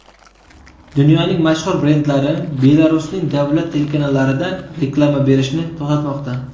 Dunyoning mashhur brendlari Belarusning davlat telekanallarida reklama berishni to‘xtatmoqda.